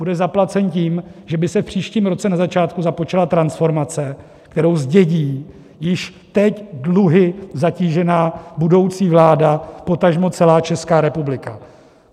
Bude zaplacen tím, že by se v příštím roce na začátku započala transformace, kterou zdědí již teď dluhy zatížená budoucí vláda, potažmo celá Česká republika.